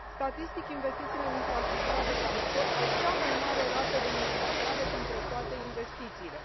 Statistic, investițiile în infrastructura de transport au cea mai mare rată de multiplicare dintre toate investițiile.